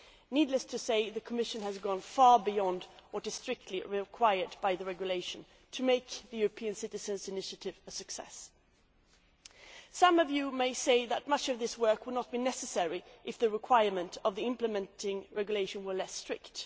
Needless to say, the Commission has gone far beyond what is strictly required by the regulation to make the European Citizens' Initiative a success. Some of you may say that much of this work would not be necessary if the requirements of the implementing regulation were less strict.